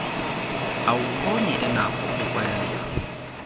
awumboni enakho ukukwenza